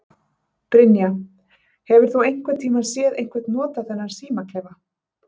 Brynja: Hefur þú einhvern tíman séð einhver nota þennan símaklefa?